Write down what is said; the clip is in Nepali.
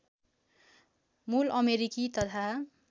मूल अमेरिकी तथा